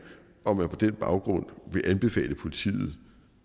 om de på den baggrund vil anbefale politiet at